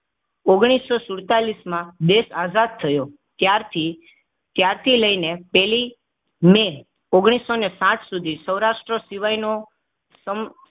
ઓગણીસો સુડતાલીસ માં દેશ આઝાદ થયો ત્યારથી ત્યારથી લઈને પેલી મેઓગણીસો સાઇઠસુધી સૌરાષ્ટ્ર સિવાયનો સમ